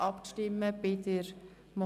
Das ist der Fall.